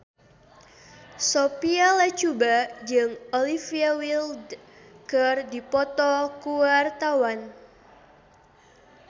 Sophia Latjuba jeung Olivia Wilde keur dipoto ku wartawan